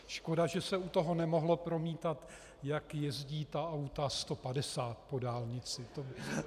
Škoda, že se u toho nemohlo promítat, jak jezdí ta auta 150 po dálnici.